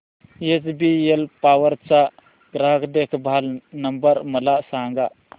HBL power चा ग्राहक देखभाल नंबर मला सांगा